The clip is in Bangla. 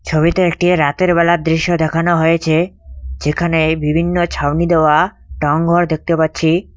ছবিতে একটি রাতের বেলার দৃশ্য দেখানো হয়েছে যেখানে বিভিন্ন ছাউনি দেওয়া টাউনঘর দেখতে পাচ্ছি।